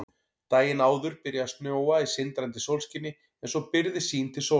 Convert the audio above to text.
Daginn áður byrjaði að snjóa í sindrandi sólskini en svo byrgði sýn til sólar.